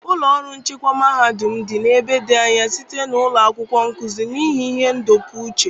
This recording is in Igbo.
Ụlọ ọrụ nchịkwa mahadum m dị n'ebe dị anya site na ụlọ akwụkwọ nkuzi, n'ihi ihe ndọpụ uche.